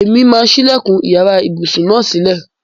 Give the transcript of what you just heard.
Èmi máa sílẹ̀kùn iyàrá ibùsùn náà sílè.